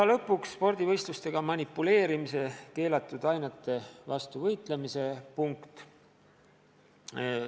Ja lõpuks, spordivõistlustega manipuleerimise ja keelatud ainete kasutamise vastu võitlemise punkt.